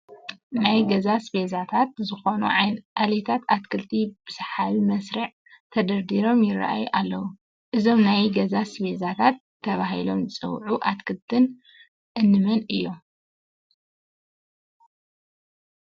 ናይ ገዛ ኣስቤዛታት ዝኾኑ ዓሌታት ኣትክልቲ ብሰሓቢ መስርዕ ተደርዲሮም ይርአዩ ኣለዉ፡፡ እዞም ናይ ገዛ ኣስቤዛታት ተባሂሎም ዝፅውዑ ኣትክልትታት እንመን እዮም?